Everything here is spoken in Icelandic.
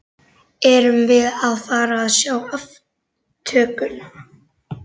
Erum við að fara að sjá aftökuna?